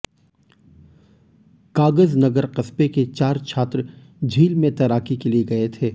कागजनगर कस्बे के चार छात्र झील में तैराकी के लिए गए थे